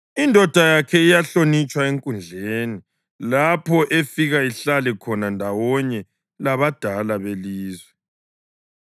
Indoda yakhe iyahlonitshwa enkundleni lapho efika ihlale khona ndawonye labadala belizwe.